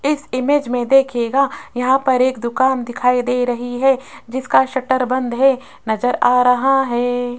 इस इमेज में देखिएगा यहां पर एक दुकान दिखाई दे रही है जिसका शटर बंद है नजर आ रहा है।